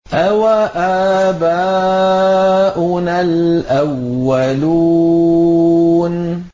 أَوَآبَاؤُنَا الْأَوَّلُونَ